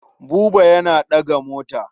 Buba yana ɗaga mota.